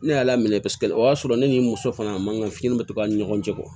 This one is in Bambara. Ne y'a laminɛ paseke o y'a sɔrɔ ne ni n muso fana man kanu bɛ to a ni ɲɔgɔn cɛ